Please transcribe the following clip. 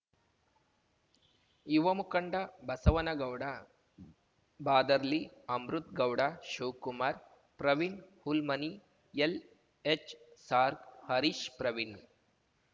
ಯುವ ಮುಖಂಡ ಬಸವನಗೌಡ ಬಾದರ್ಲಿ ಅಮೃತ್‌ ಗೌಡ ಶಿವ್ ಕುಮಾರ್ ಪ್ರವೀಣ್ ಹುಲ್ಮನಿ ಎಲ್‌ಎಚ್‌ಸಾರ್ಗ್ ಹರೀಶ್ ಪ್ರವೀಣ್